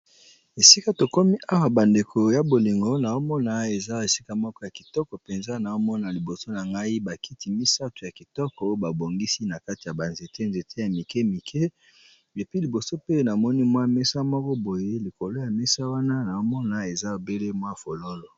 Esika tokomi awa bandeko ya bolingo naomona eza esika moko ya kitoko mpenza na omona liboso na ngai bakiti misato ya kitoko babongisi na kati ya banzete nzete ya mike mike epi liboso pe namoni mwa mesa moko boye likolo ya mesa wana naomona eza babele mwa fololo.